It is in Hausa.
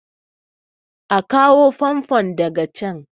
a kawo famfon daga can!